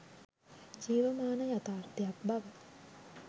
ජීවමාන යථාර්ථයක් බව